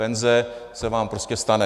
Penze se vám prostě stane.